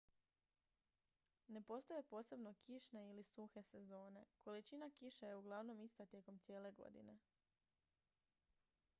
"ne postoje posebno "kišne" ili "suhe" sezone: količina kiše je uglavnom ista tijekom cijele godine.